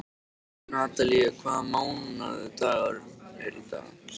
Natalía, hvaða mánaðardagur er í dag?